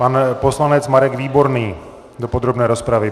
Pan poslanec Marek Výborný do podrobné rozpravy.